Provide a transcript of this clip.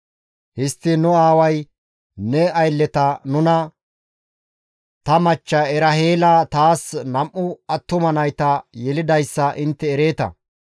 «Histtiin nu aaway ne aylleta nuna, ‹Ta machcha Eraheela taas nam7u attuma nayta yelidayssa intte ereeta;